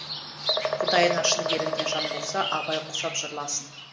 құдайына шын берілген жан болса абай құсап жырласын